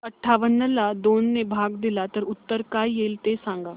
अठावन्न ला दोन ने भाग दिला तर उत्तर काय येईल ते सांगा